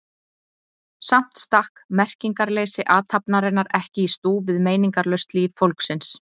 Samt stakk merkingarleysi athafnarinnar ekki í stúf við meiningarlaust líf fólksins.